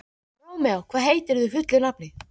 Rómeó, hvað heitir þú fullu nafni?